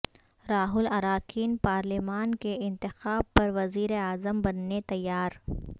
راہل اراکین پارلیمان کے انتخاب پر وزیراعظم بننے تیار